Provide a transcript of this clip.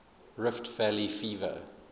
rift valley fever